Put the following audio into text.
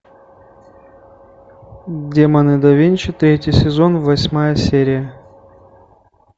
демоны да винчи третий сезон восьмая серия